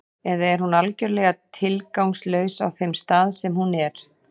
Eða er hún algjörlega tilgangslaus á þeim stað sem hún er?